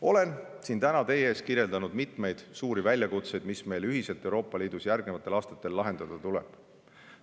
Olen siin täna teie ees kirjeldanud mitmeid suuri väljakutseid, mis meil ühiselt Euroopa Liidus järgnevatel aastatel lahendada tuleb.